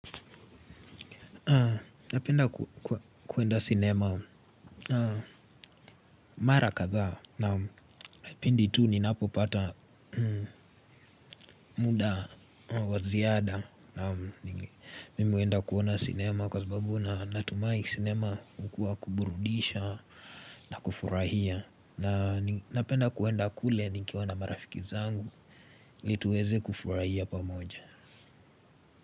Napenda kuenda cinema mara kadha na pindi tu ninapo pata muda wa ziada. Mimi huenda kuona cinema kwa sababu na natumai cinema mkuwa kuburudisha na kufurahia. Na napenda kuenda kule nikiwa na marafiki zangu li tuweze kufurahia pamoja.